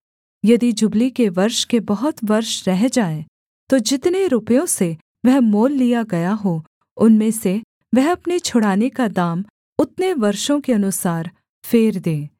यदि जुबली के वर्ष के बहुत वर्ष रह जाएँ तो जितने रुपयों से वह मोल लिया गया हो उनमें से वह अपने छुड़ाने का दाम उतने वर्षों के अनुसार फेर दे